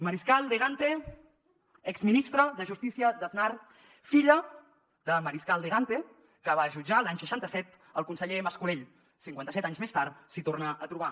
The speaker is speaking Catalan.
mariscal de gante exministra de justícia d’aznar filla de mariscal de gante que va jutjar l’any seixanta set el conseller mascolell cinquantaset anys més tard s’hi torna a trobar